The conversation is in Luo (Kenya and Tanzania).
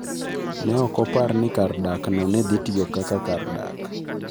Ne ok opar ni kar dakno ne dhi tiyo kaka kar dak.